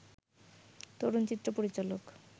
তরুণ চিত্র পরিচালক